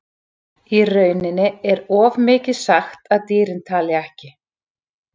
Í rauninni er of mikið sagt að dýrin tali ekki.